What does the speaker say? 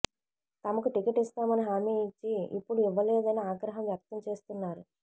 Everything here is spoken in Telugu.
తమకు టికెట్ ఇస్తామని హామీ ఇచ్చి ఇప్పుడు ఇవ్వలేదని ఆగ్రహం వ్యక్తం చేస్తున్నారు